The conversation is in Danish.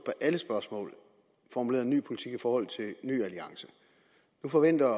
alle spørgsmål formuleret en ny politik i forhold til ny alliance nu forventer